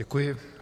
Děkuji.